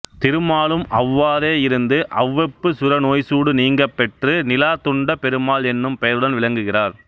திருமாலும் அவ்வாறே இருந்து அவ்வெப்பு சுர நோய்சூடு நீங்கப்பெற்று நிலாத்துண்டப் பெருமாள் என்னும் பெயருடன் விளங்குகிறார்